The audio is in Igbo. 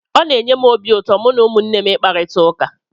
Ọ na-enye m obi ụtọ mụ na ụmụnne m ị kparita ụka.